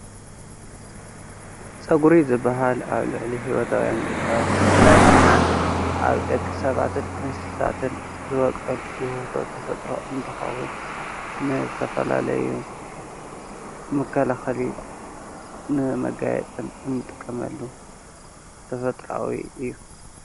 ፀጉሪ ዝበሃል ኣብ ልዕሊ ህይወታውያን ዘሎ ብፍላይ ካዓ ኣብ ደቂ ሰባትን እንስሳታትን ዝወቀል ውህብቶ ተፈጥሮ እንትኸውን ንዝተፈላለዩ መከላኸልን ንመገያፅን እንጥቀመሉ ተፈጥራዊ እዩ።